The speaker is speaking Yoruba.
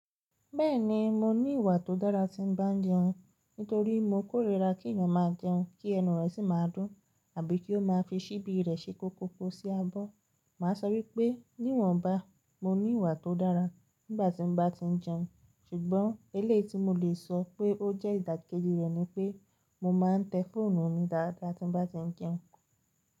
Bẹ́ẹ̀ni mo ní ìwà tó dára tí ń bá ń jẹun, nítorí mo kórìíra kí ẹ̀yàn máa jẹun kí ẹnu rẹ̀ sì máa dún àbí kí ó máa fi síbi rẹ̀ se koko sí abọ́. Mà á sọ wípé níwọ̀nba mo ní ìwà tó dára nígbàtí mo bá ti ń jẹun ṣùgbọ́n elééyi ti mo lè sọ pé ó jẹ́ ìdàkejì rẹ̀ ni pé mo máa ń tẹ fóònù mi dáadáa tí n bá ti ń jẹun.